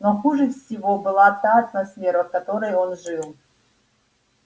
но хуже всего была та атмосфера в которой он жил